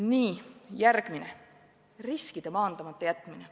Nii, järgmine, riskide maandamata jätmine.